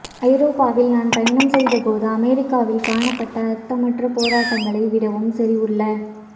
ஐரோப்பாவில் நான் பயணம் செய்தபோது அமெரிக்காவில் காணப்பட்ட அர்த்தமற்ற போராட்டங்களை விடவும் செறிவுள்ள